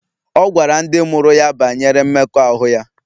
Ọ gwara ndị mụrụ ya banyere mmekọahụ ya